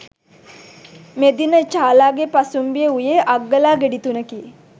මෙදින චාලාගේ පසුම්බියේ වූයේ අග්ගලා ගෙඩි තුනකි.